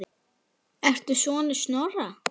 Ertu sonur Snorra?